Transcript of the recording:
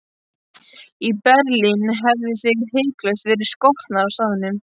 Í Berlín hefðuð þið hiklaust verið skotnir á staðnum.